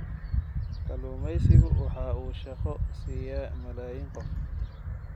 Kalluumaysigu waxa uu shaqo siiya malaayiin qof.